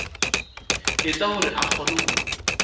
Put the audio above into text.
etsa hore a kgone ho